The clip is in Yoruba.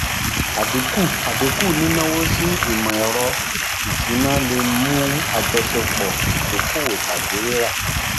àdínkú àdínkú nínáwó sí um ìmọ um ẹrọ ìsúná lè mú àjọṣepọ um ìdókòwó tàbí rírà